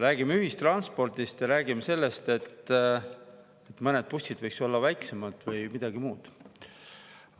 Räägime ühistranspordist ja räägime sellest, et mõned bussid võiksid olla väiksemad või midagi muud.